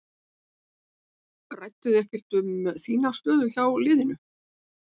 Rædduð þið ekkert um þína stöðu hjá liðinu?